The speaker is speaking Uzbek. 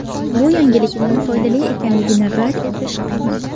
Bu yangilikning foydali ekanligini rad etish qiyin.